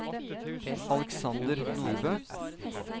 Alexander Nordbø